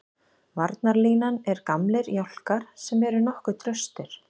Varnarlínan er gamlir jálkar sem eru nokkuð traustir.